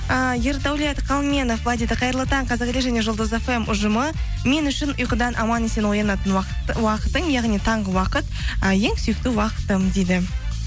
і ердәулет қалменов былай дейді қайырлы таң қазақ елі және жұлдыз фм ұжымы мен үшін ұйқыдан аман есен оянатын уақытың яғни таңғы уақыт ы ең сүйікті уақытым дейді